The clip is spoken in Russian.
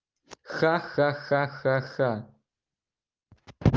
ха-ха-ха